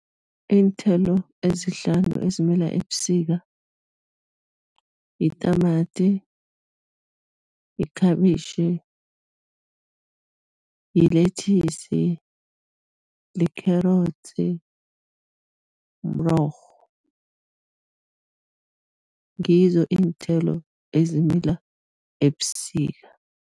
Iinthelo ezihlanu ezimila ebusika, yitamati, yikhabitjhi, yilethisi, likherotsi, mrorho, ngizo iinthelo ezimila ebusika.